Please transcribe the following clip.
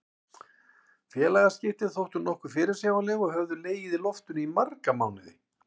Félagaskiptin þóttu nokkuð fyrirsjáanleg og höfðu legið í loftinu í marga mánuði.